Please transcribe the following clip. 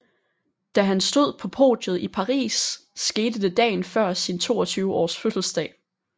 Da han stod på podiet i Paris skete det dagen før sin 22 års fødselsdag